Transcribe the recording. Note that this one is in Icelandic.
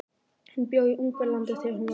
Hún bjó í Ungverjalandi þegar hún var ung.